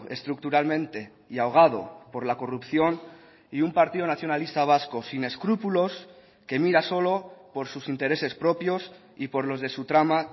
estructuralmente y ahogado por la corrupción y un partido nacionalista vasco sin escrúpulos que mira solo por sus intereses propios y por los de su trama